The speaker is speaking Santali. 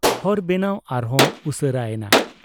ᱦᱚᱨ ᱵᱮᱱᱟᱣ ᱟᱨᱦᱚᱸ ᱩᱥᱟᱹᱨᱟ ᱮᱱᱟ ᱾